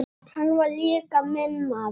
Hann var líka minn maður.